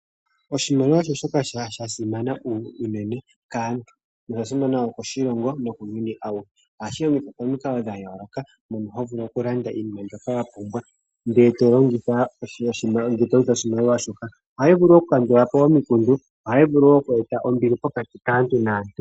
Oshimaliwa osho shoka sha simana unene kaantu nosha simana moshilongo nokuuyuni auhe. Ohashi longithwa momikalo dha yooloka mono ho vulu okulanda iinima mbyoka wa pumbwa ndele to longitha oshimaliwa shoka. Ohayi vulu okukandula po omikundu. Ohayi vulu wo oku e ta ombili pokati kaantu naantu.